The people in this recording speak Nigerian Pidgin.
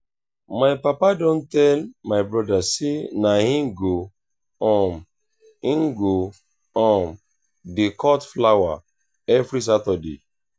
my papa don tell my broda sey na him go um him go um dey cut flower every saturday.